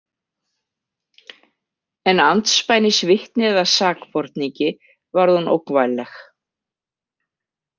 En andspænis vitni eða sakborningi varð hún ógnvænleg.